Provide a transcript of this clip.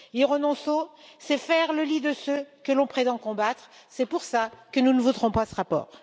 Y renoncer, c'est faire le lit de ce que l'on prétend combattre, c'est pour cela que nous ne voterons pas ce rapport.